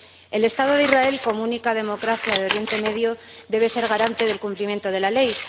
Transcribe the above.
El Estado de Israel, como única democracia de Oriente Próximo, debe ser garante del cumplimiento de la ley